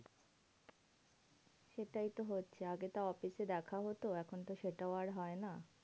সেটাই তো হচ্ছে আগে তাও office এ দেখা হতো এখন তো সেটাও আর হয় না।